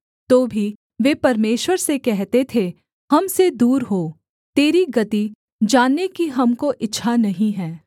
तो भी वे परमेश्वर से कहते थे हम से दूर हो तेरी गति जानने की हमको इच्छा नहीं है